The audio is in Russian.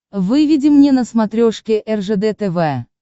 выведи мне на смотрешке ржд тв